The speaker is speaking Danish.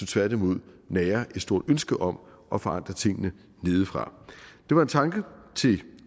tværtimod nærer et stort ønske om at forandre tingene nedefra det var en tanke til